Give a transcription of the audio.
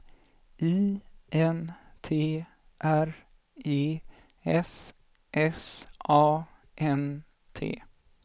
I N T R E S S A N T